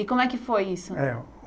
E como é que foi isso? É